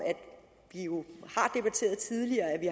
jo